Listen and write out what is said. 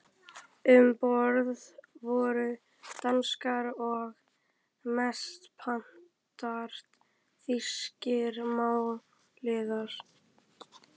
Um borð voru danskir og mestanpart þýskir málaliðar.